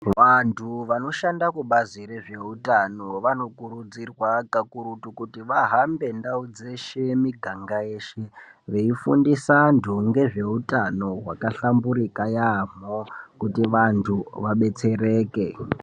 Vantu vano shanda kubazi rezve utano vano kurudzirwa kakurutu kuti vahambe ndau dzeshe, miganga yeshe veifundisa antu ngezve utano hwaka hlamburika yaamho kuti vantu vabetsereke.